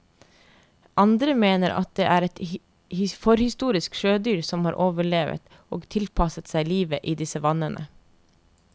Andre mener at det er et forhistorisk sjødyr som har overlevet og tilpasset seg livet i disse vannene.